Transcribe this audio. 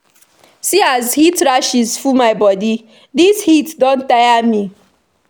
See as heat rashes full my baby bodi, dis heat don tire me.